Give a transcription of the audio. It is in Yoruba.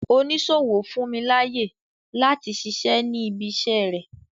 Oníṣòwò fún mi láyè láti ṣiṣẹ́ ní ibi iṣẹ́ rẹ.